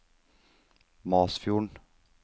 Masfjorden